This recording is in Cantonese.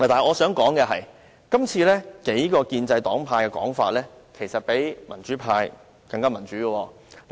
我想指出的是，就今次事件，數個建制黨派的說法其實比民主派更民主。